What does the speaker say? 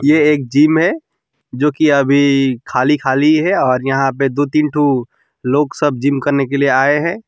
ये एक जिम है जोकि अभी खाली खाली है और यहां पे दो तीन ठो लोग सब जिम करने के लिए आए हैं।